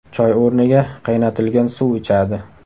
Choy o‘rniga, qaynatilgan suv ichadi.